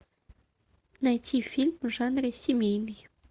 найти фильм в жанре семейный